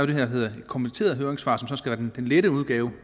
det der hedder et kommenteret høringssvar som skal være den lette udgave